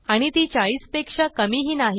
आणि ती 40पेक्षा कमी ही नाही